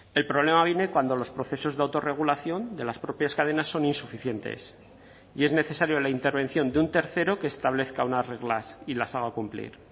el problema viene cuando los procesos de autorregulación de las propias cadenas son insuficientes y es necesario la intervención de un tercero que establezca unas reglas y las haga cumplir